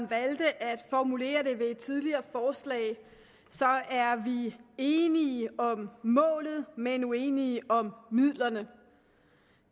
valgte at formulere det ved et tidligere forslag er vi enige om målet men uenige om midlerne